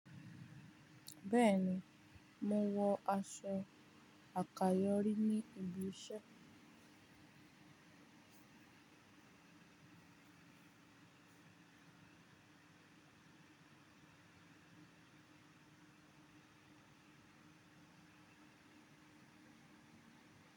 Bẹ́ẹ̀ ni, mò ń wọ aṣọ àkàyọ́ rí ní ibi iṣẹ́.